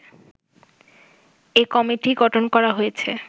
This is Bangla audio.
এ কমিটি গঠন করা হয়েছে